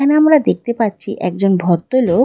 এখানে আমরা দেখতে পাচ্ছি একজন ভদ্র লোক --